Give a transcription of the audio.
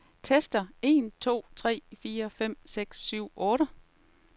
Tester en to tre fire fem seks syv otte.